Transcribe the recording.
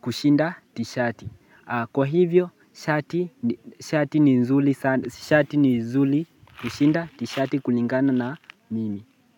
kushinda tishati Kwa hivyo shati ni nzuli kushinda tishati kulingana na mimi.